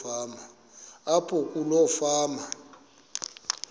apho kuloo fama